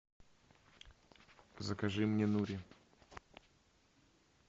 закажи мне нури